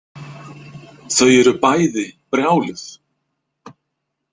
Þau eru bæði brjáluð.